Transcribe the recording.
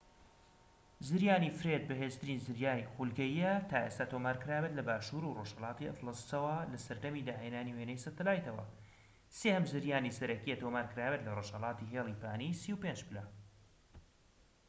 زریانی فرێد بەهێزترین زریانی خولگەییە تا ئێستا تۆمار کرابێت لە باشوور و ڕۆژهەلاتی ئەتلەسەوە لە سەردەمی داهێنانی وێنەی سەتەلایتەوە، سێهەم زریانی سەرەکیە تۆمار کرابێت لە رۆژهەڵاتی هێلی پانی ٣٥ پلە